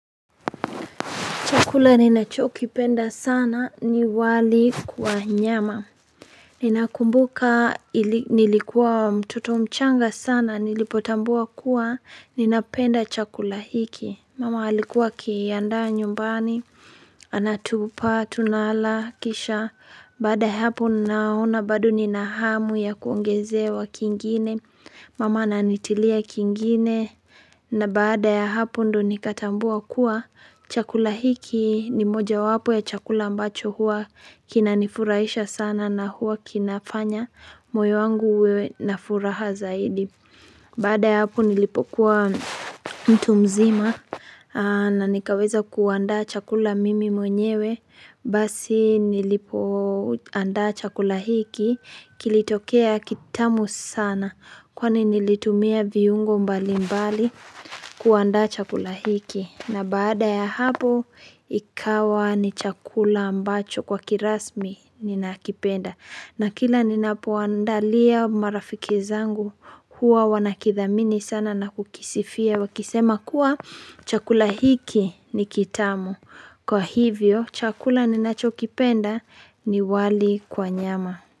Chakula ninachoki penda sana ni wali kwa nyama. Ninakumbuka nilikuwa mtoto mchanga sana nilipotambua kuwa ninapenda chakula hiki. Mama alikuwa akiandaa nyumbani, anatupa, tunala, kisha. Baada ya hapo naona bado nina hamu ya kuongezewa kingine. Mama nanitilia kingine na baada ya hapo ndo nikatambua kuwa chakula hiki. Ni moja wapo ya chakula ambacho huwa kinanifurahisha sana na huwa kinafanya moyo wangu uwe na furaha zaidi bada ya hapo nilipokuwa mtu mzima na nikaweza kuandaa chakula mimi mwenyewe basi nilipo anda chakula hiki kilitokea kitamu sana kwani nilitumia viungo mbali mbali kuandaa chakula hiki na baada ya hapo ikawa ni chakula ambacho kwa kirasmi ninakipenda na kila ninapo waandalia marafiki zangu huwa wanakithamini sana na kukisifia Wakisema kuwa chakula hiki ni kitamu Kwa hivyo chakula ninacho kipenda ni wali kwa nyama.